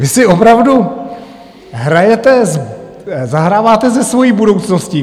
Vy si opravdu hrajete, zahráváte se svojí budoucností.